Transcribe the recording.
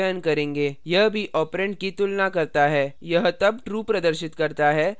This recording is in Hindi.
यह तब true प्रदर्शित करता है जब a b से कम हो